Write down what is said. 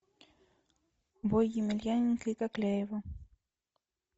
бой емельяненко и кокляева